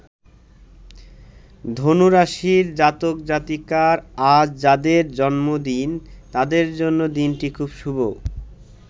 ধনু রাশির জাতক-জাতিকার আজ যাদের জন্মদিন তাদের জন্য দিনটি খুব শুভ।